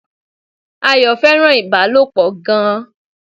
Ayọ̀ fẹ́ràn Ìbálòpọ̀ gan